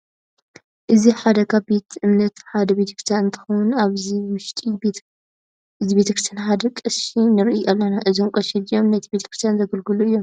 እዚ ሓደ ካብ ቤት እምነታትና ሓደ ቤተክርስትያን እንትከውን ኣብ እዚ ውሽጢ እዚ ቤተክርስያን ሓደ ቀሺ ንርኢ ኣለና። እዞም ቀሺ እዚኦም ነቲ ቤተክርስትያ ዘገልግሉ እዮም።